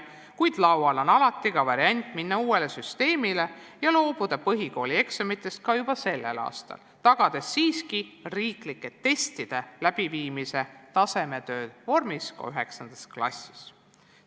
Kuid laual on alati variant minna uuele süsteemile üle ja loobuda põhikoolieksamitest juba sellel aastal, tagades siiski riiklike testide läbiviimise võimaluse tasemetöö vormis ka 9. klassis.